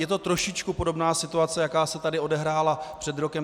Je to trošičku podobná situace, jaká se tady odehrála před rokem.